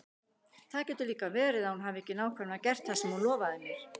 Það getur líka verið að hún hafi ekki nákvæmlega gert það sem hún lofaði mér.